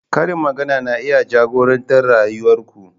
Karin magana na iya jagorantar rayuwar ku.